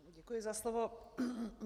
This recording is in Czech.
Děkuji za slovo.